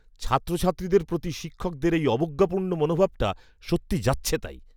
ছাত্রছাত্রীদের প্রতি শিক্ষকের এই অবজ্ঞাপূর্ণ মনোভাবটা সত্যি যাচ্ছেতাই!